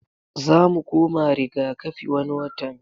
Zamu koma riga kafi wani watan